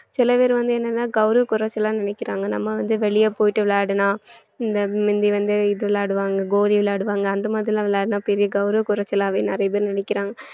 சில பேர் வந்து என்னன்னா கௌரவ குறைச்சலா நினைக்கிறாங்க நம்ம வந்து வெளிய போயிட்டு விளையாடினா இந்த முந்தி வந்து இது விளையாடுவாங்க கோலி விளையாடுவாங்க அந்த மாதிரிலாம் விளையாடுனா பெரிய கௌரவ குறைச்சலாவே நிறைய பேர் நினைக்கிறாங்க